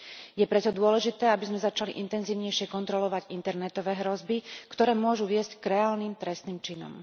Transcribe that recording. Je preto dôležité, aby sme začali intenzívnejšie kontrolovať internetové hrozby, ktoré môžu viesť k reálnym trestným činom.